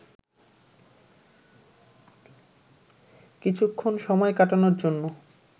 কিছুক্ষণ সময় কাটানোর জন্য